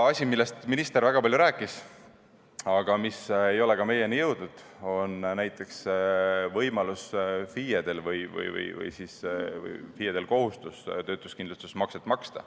Asi, millest minister väga palju rääkis, aga mis ei ole samuti meieni jõudnud, on näiteks FIE-de kohustus maksta töötuskindlustusmakset.